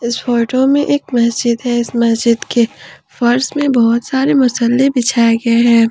इस फोटो में एक मस्जिद है इस मस्जिद के फर्श में बहुत सारे मुसल्ले बिछाए गए हैं।